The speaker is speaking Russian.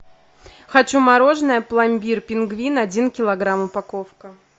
хочу мороженое пломбир пингвин один килограмм упаковка